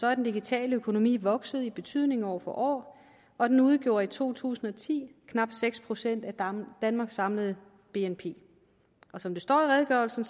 er den digitale økonomi vokset i betydning år for år og den udgjorde i to tusind og ti knap seks procent af danmarks samlede bnp og som det står i redegørelsen